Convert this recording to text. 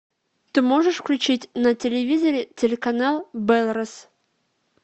ты можешь включить на телевизоре телеканал белрос